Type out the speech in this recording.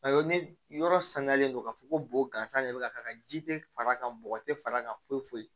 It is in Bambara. Awɔ ne yɔrɔ sangalen don k'a fɔ ko bo gansan de bɛ ka k'a kan ji tɛ far'a kan bɔgɔ tɛ far'a kan foyi foyi